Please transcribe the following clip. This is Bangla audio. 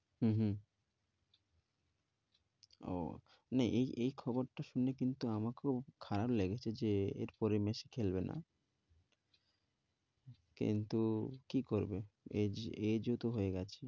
হম হম ও না এই এই খবরটা শুনে কিন্তু আমার খুব খারাপ লেগেছে যে এরপরে মেসি খেলবে না। কিন্তু কি করবে age age ও তো হয়ে গেছে।